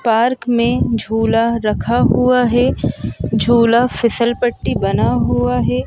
Park में झूला रखा हुआ है झूला फिसल पट्टी बना हुआ है।